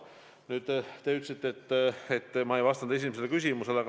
Nüüd, te ütlesite, et ma ei vastanud teie esimesele küsimusele.